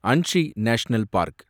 Anshi national park